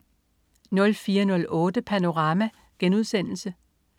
04.08 Panorama*